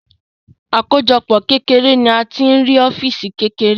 Àkójọpọ̀ kékeré ni a tí ń rí ọ́físì kékeré